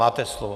Máte slovo.